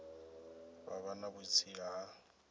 vha vha na vhutsila ha